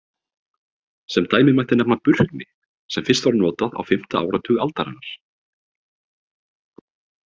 Sem dæmi mætti nefna Burkni sem fyrst var notað á fimmta áratug aldarinnar.